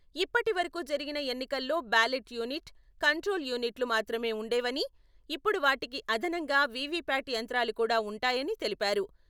ఇప్పటివరకూ జరిగిన ఎన్నికల్లో బ్యాలెట్ యూనిట్, కంట్రోలు యూనిట్లు మాత్రమే ఉండేవని, ఇప్పుడు వాటికి అదనంగా వీవీప్యాట్ యంత్రాలు కూడా ఉంటాయని తెలిపారు.